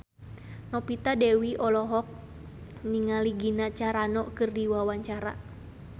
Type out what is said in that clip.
Novita Dewi olohok ningali Gina Carano keur diwawancara